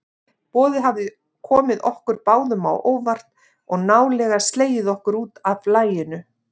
Boðið hafði komið okkur báðum á óvart og nálega slegið okkur útaf laginu.